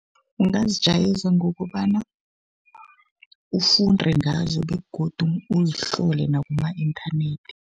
Ungazijayeza ngokobana ufunde ngazo begodu uzihlole nakuma-inthanethi.